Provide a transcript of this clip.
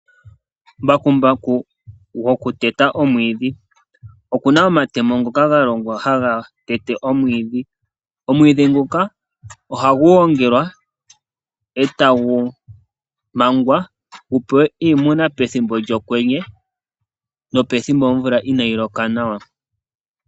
Mbakumbaku goku teta omwiidhi okuna omatemo ngoka galongwa haga tete omwiidhi. Omwiidhi nguka ohagu gongelwa e tagu mangwa gupewe iimuna pethimbo lyokwenye nopethimbo omvula inayiloka nawa.